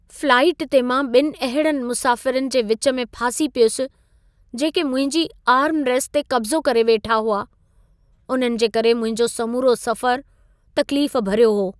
Flight ते मां ॿिनि अहिड़नि मुसाफ़िरनि जे विच में फासी पियुसि, जेके मुंहिंजी आर्मरेस्ट ते कब्ज़ो करे वेठा हुआ। उन्हनि जे करे मुंहिंजो समूरो सफ़र तकलीफ़ भरियो हो।